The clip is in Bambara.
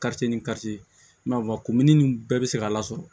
ni kafamuni nin bɛɛ bɛ se ka lasɔrɔ